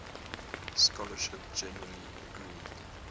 scholarship generally agreeing